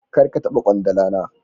Kar ka taba kwandala na